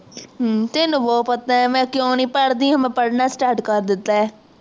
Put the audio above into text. ਹੱਮ ਤੈਨੂੰ ਪਤਾ ਹੈ ਮਈ ਕਿਊ ਨੀ ਪੜ੍ਹਦੀ ਮੈਂ ਪੜ੍ਹਨਾ start ਕਰ ਦਿੱਤਾ ਹੈ